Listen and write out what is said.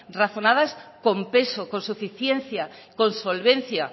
razonadas con peso con suficiencia con solvencia